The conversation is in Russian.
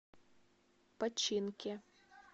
починке